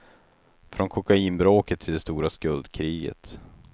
Från kokainbråket till det stora skuldkriget.